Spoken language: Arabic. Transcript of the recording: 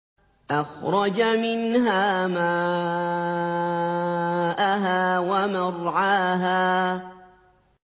أَخْرَجَ مِنْهَا مَاءَهَا وَمَرْعَاهَا